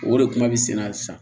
O de kuma bɛ sen na sisan